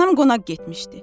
Anam qonaq getmişdi.